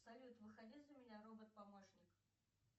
салют выходи за меня робот помощник